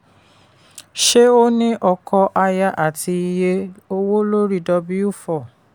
ṣé ó ní ọkọ aya àti iye owó lori w four.